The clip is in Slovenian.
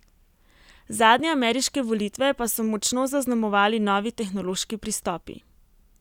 Zadnje ameriške volitve pa so močno zaznamovali novi tehnološki pristopi.